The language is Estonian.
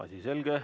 Asi selge.